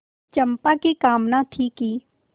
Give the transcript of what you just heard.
चंपा की कामना थी कि